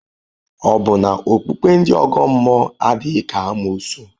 Ọ̀ bụ na okpukpe ndị ọgọ mmụọ adịghị ka amoosu?